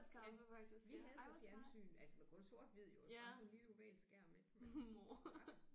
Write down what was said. Ja vi havde så fjernsyn altså men kun sort hvid jo bare sådan en lille oval skærm ik men ja